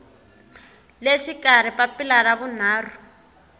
le xikarhi papila ra vunharhu